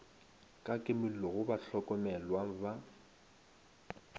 ka kimollo go bahlokomelwa ba